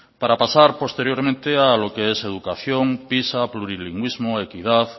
para pasar posteriormente a lo que es educación pisa plurilingüismo equidad